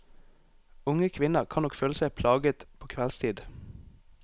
Unge kvinner kan nok føle seg plaget på kveldstid.